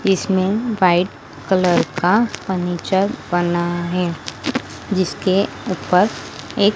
इसमें white colour का furniture बना है जिसके ऊपर एक--